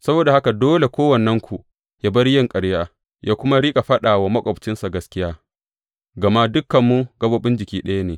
Saboda haka dole kowannenku yă bar yin ƙarya, yă kuma riƙa faɗa wa maƙwabcinsa gaskiya, gama dukanmu gaɓoɓi jiki ɗaya ne.